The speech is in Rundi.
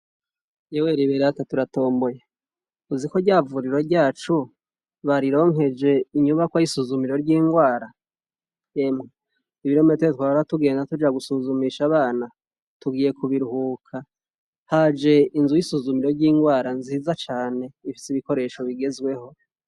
Ewe Riberata turatomboye ,uzi ko rya vuriro ryacu barironkeje inyubako y'isuzumiro ry'indwara! Emwe ibirometero twabora tugenda tuja gusuzumisha abana tugiye kubiruhuka ,haje inzu y'isuzumiro ry'indwara nziza cane ,ifise ibikoresho bigezweho.